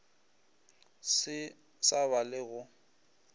se sa ba le go